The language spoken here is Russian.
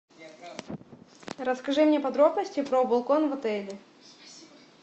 расскажи мне подробности про балкон в отеле